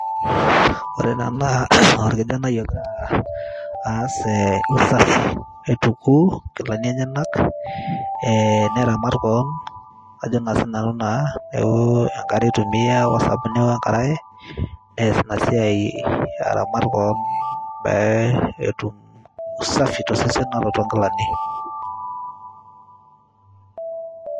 ore ena naa orkijanai ogira aas eh, usafi aituku inkilani enyenak eh, neramat koon ajo naa sinanu naa neeku enkare itumia wosabuni wenkaraye nees ina siai aramat koon pee etum usafi tosesen ata toonkilani.